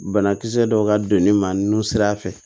Banakisɛ dɔw ka don ne ma nun sira fɛ